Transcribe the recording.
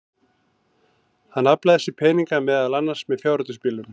Hann aflaði sér peninga, meðal annars með fjárhættuspilum.